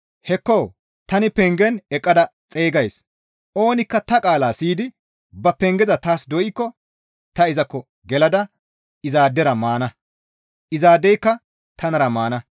Hekko! Tani pengen eqqada xeygays; oonikka ta qaalaa siyidi ba pengeza taas doykko ta izakko gelada izaadera maana; izaadeyka tanara maana.